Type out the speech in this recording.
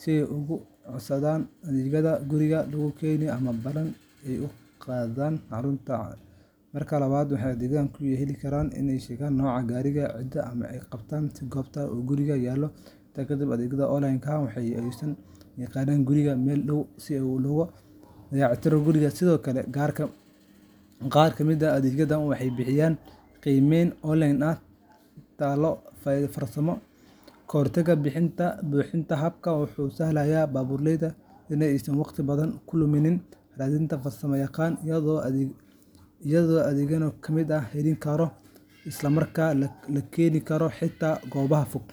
si ay uga codsadaan adeegga guriga lagu keeno ama ballan ay u qabsadaan xarunta dayactirka. Marka labaad, waxay adeegyadaas ku jeli karaan iyagoo sheegaya nooca gaariga, ciladda ay qabto, iyo goobta uu gaarigu yaallo. Intaa kadib, adeegga online-ka ah ayaa u soo diri kara farsamo yaqaan guriga ama meel u dhow si loo eego loona dayactiro gaariga. Sidoo kale, qaar ka mid ah adeegyada waxay bixiyaan qiimeyn online ah iyo talo farsamo ka hor inta aan la bixin adeeg buuxa. Habkani wuxuu u sahlayaa baabuurleyda in aysan waqti badan ku lumin raadinta farsamo yaqaan, iyadoo adeeggu uu noqdo mid degdeg ah, la isku halayn karo, islamarkaana laga heli karo xitaa goobaha fog.